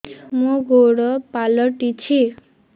ମୋର ଗୋଡ଼ ପାଲଟିଛି